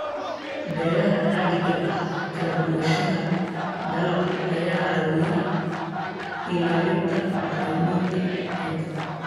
Beeraha caadiga ah, kala duwanaanshaha dalagga ayaa caawiya ilaalinta bacrinta ciidda.